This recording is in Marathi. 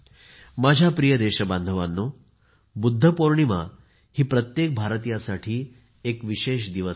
माझ्या प्रिय देशबांधवांनो बुद्ध पोर्णिमा प्रत्येक भारतीय साठी एक विशेष दिवस आहे